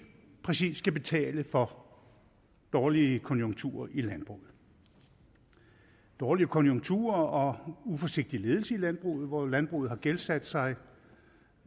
præcis skal betale for dårlige konjunkturer i landbruget dårlige konjunkturer og uforsigtig ledelse i landbruget hvor landbruget har gældsat sig